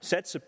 satse